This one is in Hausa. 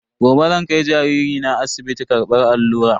Gobe zan kai jariri na asibiti karbar allura.